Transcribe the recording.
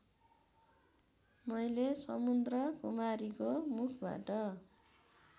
मैले समुद्रकुमारीको मुखबाट